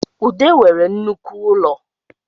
Ude nwere nnoko ụlọ